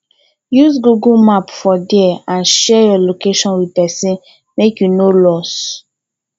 use google map for there and share your location with persin make you no lost